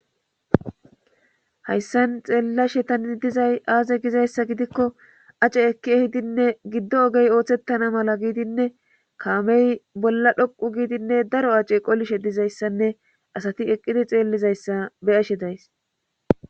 hayssan xeellashe tani dizay aaze gizayssa gidikko ace ekki ehidinne giddo ogey ooththettana mala giidinne kaamey bolla dhoqu giidinne daro ace qolishe dizayssanne asati eqqidi xeellizayssa beyashe days